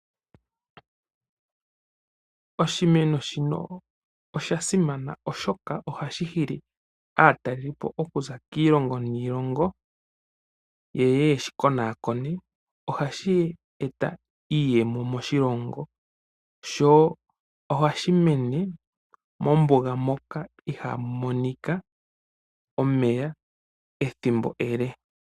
Oshimeno shino oshasimana oshoka ohashi hili aatalelipo okuza kiilongo yeye ye shi konaakone. Phashi eta iiyemo moshilongo sho ohashi mene mombuga moka ihamu monika omeya ethimbo ele.